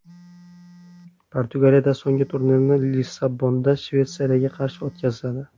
Portugaliya so‘nggi turni Lissabonda Shveysariyaga qarshi o‘tkazadi.